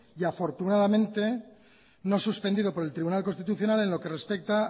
y afortunadamente no suspendido por el tribunal constitucional en lo que respecta